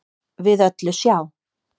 við öllu sjá